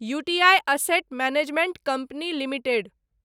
U T I asset management company limited